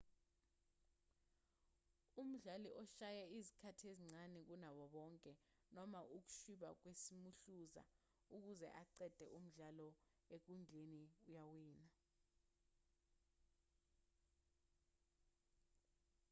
umdlali oshaya izikhathi ezincane kunabo bonke noma ukushwiba kwesimuhluza ukuze aqede umdlalo enkundleni uyawina